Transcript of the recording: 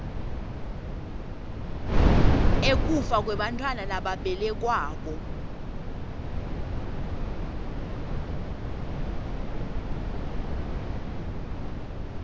ekufa kwebantfwana lababelekwako